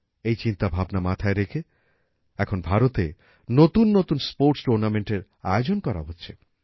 এই চিন্তা ভাবনা মাথায় রেখে এখন ভারতে নতুন নতুন স্পোর্টস tournamentএর আয়োজন করা হচ্ছে